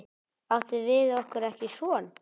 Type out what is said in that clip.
Áttum við okkur ekki son?